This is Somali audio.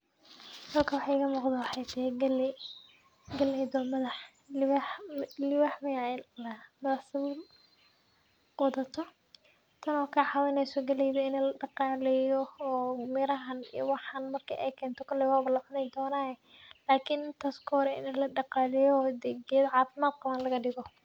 Halkan waxa igamuqdo waxay tahay galey, galeyda oo madax madax wadato madax miyaa ladahaa , sabul wadato tan oo kacawineyso galeyda in ladaqaleyo oo maragte koley walacuni donaye , geda cafimad qabo lagadigo.